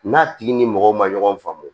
N'a tigi ni mɔgɔ ma ɲɔgɔn faamu